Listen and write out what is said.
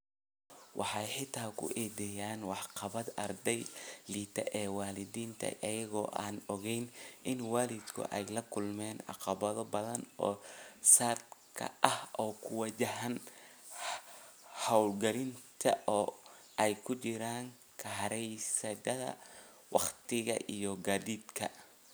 Waxay xitaa ku eedeeyaan waxqabadka ardayga liita ee waalidiinta, iyagoo aan ogayn in waalidku ay la kulmaan caqabado badan oo saadka ah oo ku wajahan hawlgelinta oo ay ku jiraan kharashyada, wakhtiga iyo gaadiidka.